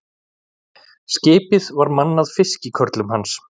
Skipið var mannað fiskikörlum hans.